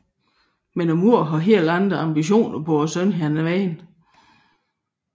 Men moderen har helt andre ambitioner på sønnens vegne